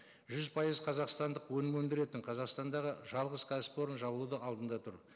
жүз пайыз қазақстандық өнім өндіретін қазақстандағы жалғыз кәсіпорын жабылудың алдында тұр